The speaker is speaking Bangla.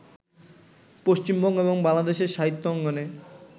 পশ্চিমবঙ্গ এবং বাংলাদেশের সাহিত্য অঙ্গনে